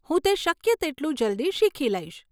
હું તે શક્ય તેટલું જલ્દી શીખી લઈશ.